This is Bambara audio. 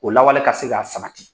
O lawale ka se ka samati.